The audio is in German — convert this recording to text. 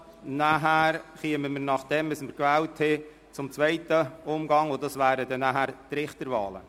Anschliessend kommen wir zum zweiten Umgang – zu den Richterwahlen.